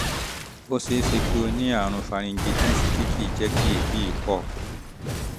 ó ṣe é ṣe kó o ní àrùn pharyngitis tí kì í jẹ́ kí èébì pọ̀